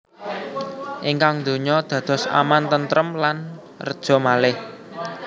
Ingkang donya dados aman tentrem lan reja malih